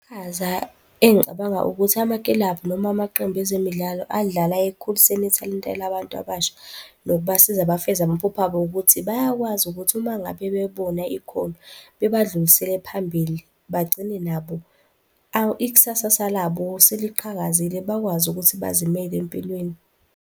Iqhaza engicabanga ukuthi amakilabhu noma amaqembu ezemidlalo adlala ekukhuliseni ithalente labantu abasha nokubasiza bafeze amaphupho abo ukuthi bayakwazi ukuthi uma ngabe bebona ikhono, bebadlulisele phambili, bagcine nabo ikusasasa labo seliqhakazile, bakwazi ukuthi bazimele empilweni.